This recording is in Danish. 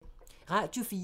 Radio 4